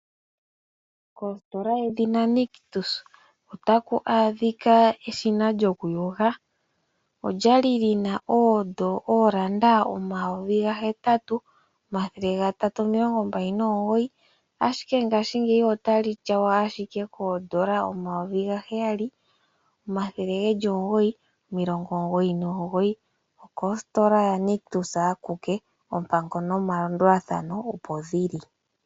Kositola yedhina Nictus otaku adhika eshina lyokuyoga, olyali lyina N$8 329 ashike ngaashingeyi otali tyawa ashike koo N$ 7 999 okositola yaNictus akuke. Oompango nomalandulathano opo dhili.